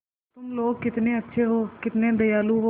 तुम लोग कितने अच्छे हो कितने दयालु हो